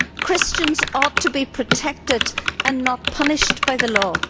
Christians ought to be protected, and not punished, by the law.